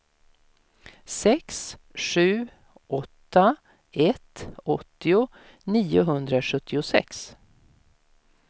sex sju åtta ett åttio niohundrasjuttiosex